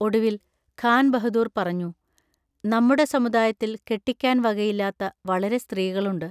ഒടുവിൽ ഖാൻ ബഹദൂർ പറഞ്ഞു: നമ്മുടെ സമുദായത്തിൽ കെട്ടിക്കാൻ വകയില്ലാത്ത വളരെ സ്ത്രീകളുണ്ട്.